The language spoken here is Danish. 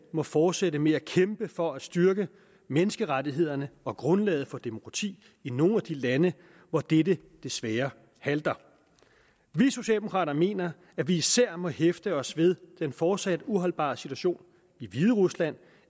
må fortsætte med at kæmpe for at styrke menneskerettighederne og grundlaget for demokrati i nogle af de lande hvor dette desværre halter vi socialdemokrater mener at vi især må hæfte os ved den fortsat uholdbare situation i hviderusland